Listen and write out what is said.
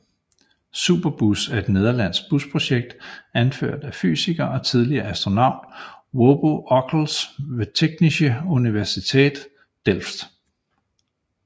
Superbus er et nederlandsk busprojekt anført af fysiker og tidligere astronaut Wubbo Ockels ved Technische Universiteit Delft